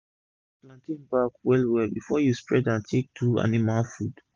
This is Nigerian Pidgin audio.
clean plantain back well well before u spread am take do animal food